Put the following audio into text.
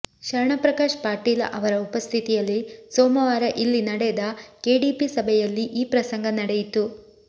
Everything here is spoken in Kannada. ಶರಣಪ್ರಕಾಶ್ ಪಾಟೀಲ ಅವರ ಉಪಸ್ಥಿತಿಯಲ್ಲಿ ಸೋಮವಾರ ಇಲ್ಲಿ ನಡೆದ ಕೆಡಿಪಿ ಸಭೆಯಲ್ಲಿ ಈ ಪ್ರಸಂಗ ನಡೆಯಿತು